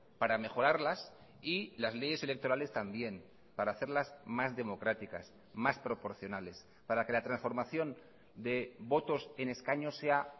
para mejorarlas y las leyes electorales también para hacerlas más democráticas más proporcionales para que la transformación de votos en escaños sea